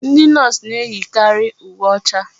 Ndị Nọọsụ na-eyikari uwe ọcha.